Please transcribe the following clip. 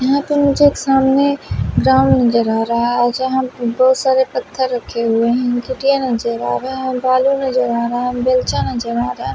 यहाँ पर मुझे एक सामने ग्राउंड नजर आ रहा है यहाँ बहुत सारे पत्थर रखे हुए हैं कुट्टियाँ नजर आ रहा है भालू नजर आ रहा है बलचा अच्छा नजर आ रहा --